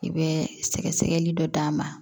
I bɛ sɛgɛsɛgɛli dɔ d'a ma